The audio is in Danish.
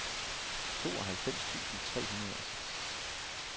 tooghalvfems tusind tre hundrede og seks